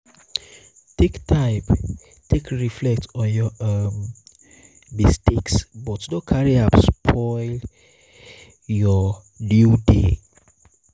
take time um take reflect um on yur um mistake but no carry am spoil yur new day